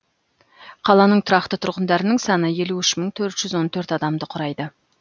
қаланың тұрақты тұрғындарының саны елу үш мың төрт жүз он төрт адамды құрайды